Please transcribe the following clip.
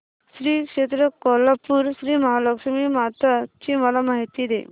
श्री क्षेत्र कोल्हापूर श्रीमहालक्ष्मी माता ची मला माहिती दे